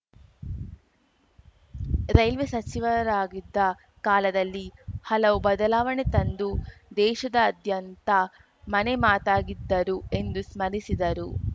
railway ಸಚಿವರಾಗಿದ್ದ ಕಾಲದಲ್ಲಿ ಹಲವು ಬದಲಾವಣೆ ತಂದು ದೇಶದಾದ್ಯಂತ ಮನೆ ಮಾತಾಗಿದ್ದರು ಎಂದು ಸ್ಮರಿಸಿದರು